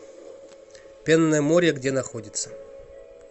пенное море где находится